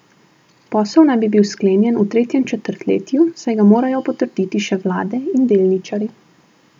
Posel naj bi bil sklenjen v tretjem četrtletju, saj ga morajo potrditi še vlade in delničarji.